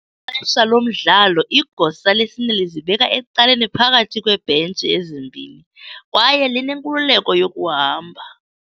Ngexesha lomdlalo, igosa lesine lizibeka ecaleni phakathi kweebhentshi ezimbini kwaye linenkululeko yokuhamba.